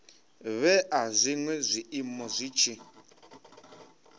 vhea zwinwe zwiiimo zwi tshi